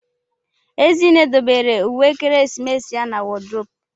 Ezinne dobere uwe ekeresimesi ya na wodrobu.